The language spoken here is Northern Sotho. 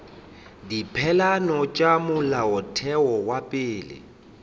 dipeelano tša molaotheo wa pele